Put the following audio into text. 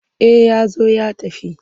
Eh ya zo ya tafi.